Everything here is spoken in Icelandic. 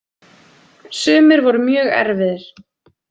Sumir voru mjög erfiðir.